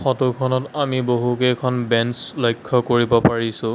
ফটোখনত আমি বহুকেইখন বেঞ্চ লক্ষ্য কৰিব পাৰিছোঁ।